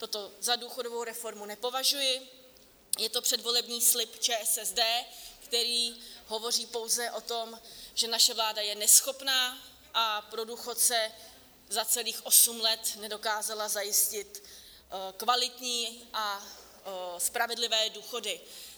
Toto za důchodovou reformu nepovažuji, je to předvolební slib ČSSD, který hovoří pouze o tom, že naše vláda je neschopná a pro důchodce za celých osm let nedokázala zajistit kvalitní a spravedlivé důchody.